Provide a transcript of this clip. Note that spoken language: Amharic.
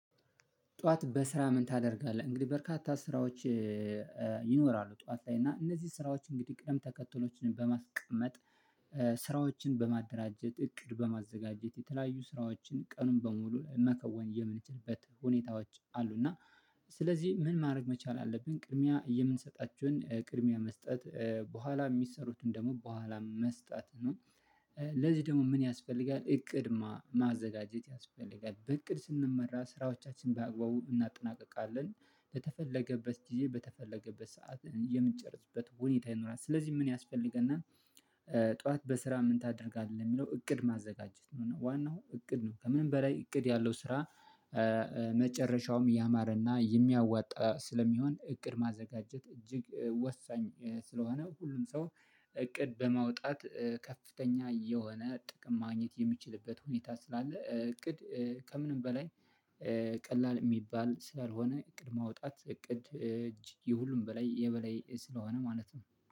ጠዋት በስራ ምን ታደርጋለህ? እንግዲህ በርካታ ስራዎች ይኖራሉ ጠዋት ላይ እና እነዚህ ስራዎች እንግዲህ ቅደም ተከትሎችን በማስቀመጥ ስራዎችን በማደራጀት እቅድ በማዘጋጀት የተለያዩ ስራዎችን ቀኑን በሙሉ መከወን የምንችልበት ሁኔታዎች አሉ። እና ስለዚህ ምን ማድረግ መቻል አለብን ቅድሚያ የምንሰጣቸውን ቅድሚያ መስጠት በኋላ የሚሰሩትን ደግሞ በኋላ መስጠት ነው። ለዚህ ደግሞ ምን ያስፈልጋል እቅድ ማዘጋጀት ያስፈልጋል። በእቅድ ስንመራ ስራዎቻችን በአግባቡ እናጠናቅቃለን በተፈለገበት ጊዜ በተፈለገበት ሰዓት የምንጨርስበት ሁኔታ ይኖራል። ስለዚህ ምን ያስፈልገናል። ጠዋት በስራ ምን ታደርጋለህ? የሚለው እቅድ ማዘጋጀት ነው ዋናው እቅድ ነው። ከምንም በላይ እቅድ ያለው ስራ መጨረሻውም ያማረና የሚያዋጣ ስለሚሆን እቅድ ማዘጋጀት እጅግ ወሳኝ። ስለሆነ ሁሉም ሰው እቅድ በማውጣት ከፍተኛ የሆነ ጥቅም ማግኘት የምችልበት ሁኔታ ስላለ እቅድ ከምንም በላይ ቀላል የሚባል ስላልሆነ እቅድ ማውጣት እቅድ እጅ ይሁሉም በላይ የበላይ ስለሆነ ማለት ነው